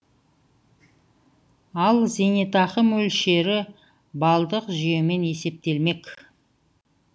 ал зейнетақы мөлшері балдық жүйемен есептелмек